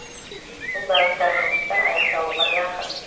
бұл бағыттағы жұмыстар аяқталуға жақын